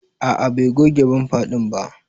A'a Bai goge bamfa din ba.